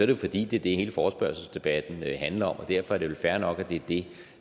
jo fordi det er det hele forespørgselsdebatten handler om og derfor er det vel fair nok at det